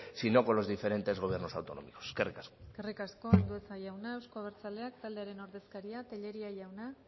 sino con los diferentes gobiernos autonómicos eskerrik asko eskerrik asko andueza jauna euzko abertzaleak taldearen ordezkaria tellería jauna